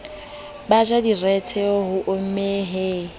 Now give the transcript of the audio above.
ba ntjang direthe hommeng he